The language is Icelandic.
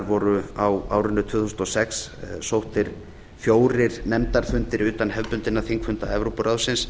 voru á árinu tvö þúsund og sex sóttir fjórir nefndarfundir utan hefðbundinna þingfunda evrópuráðsins